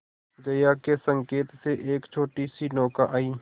जया के संकेत से एक छोटीसी नौका आई